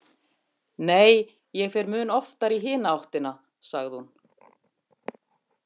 Nei, ég fer mun oftar í hina áttina, sagði hún.